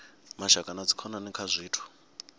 mashaka na dzikhonani kha zwithu